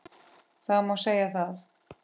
Það má segja það.